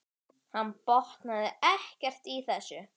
Hann botnaði ekkert í þessu.